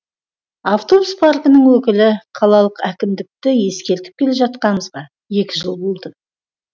автобус паркінің өкілі қалалық әкімдікті ескертіп келе жатқанымызға екі жыл болды